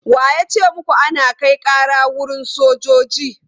Wa ya ce muku ana kai ƙara wurin sojoji?